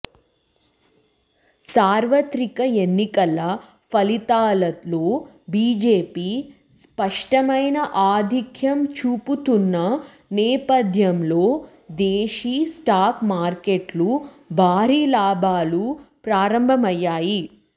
సార్వత్రిక ఎన్నికల ఫలితాలలో బీజేపీ స్పష్టమైన ఆధిక్యం చూపుతున్న నేపథ్యంలో దేశీ స్టాక్ మార్కెట్లు భారీ లాభాలతో ప్రారంభమయ్యాయి